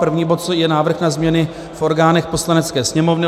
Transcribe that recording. Prvním bodem je návrh na změny v orgánech Poslanecké sněmovny.